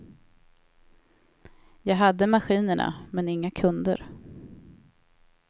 Jag hade maskinerna men inga kunder.